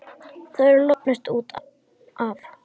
Þú hefur lognast út af!